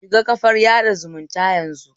Shiga kafar sada zumunta yanzu